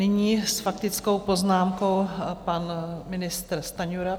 Nyní s faktickou poznámkou pan ministr Stanjura.